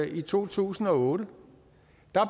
i to tusind og otte